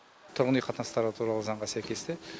тұрғын үй қатынастары туралы заңға сәйкесте